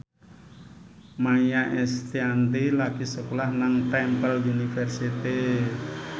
Maia Estianty lagi sekolah nang Temple University